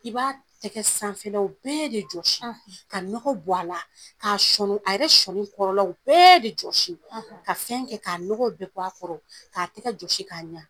I b'a tɛgɛ sanfɛlaw bɛɛ de jɔsi ka nɔgɔ bɔ ala ka sɔni ka yɛrɛ sɔni kɔrɔlaw bɛɛ de jɔsi ka fɛn kɛ ka nɔgɔw bɛɛ bɔ a kɔrɔ k'a tɛgɛ jɔsi k'a ɲa